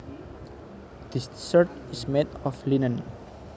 This shirt is made of linen